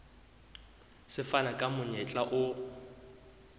se fana ka monyetla o